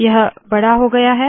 यह बड़ा हो गया है